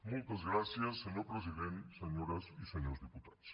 moltes gràcies senyor president senyores i senyors diputats